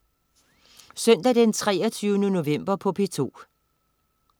Søndag den 23. november - P2: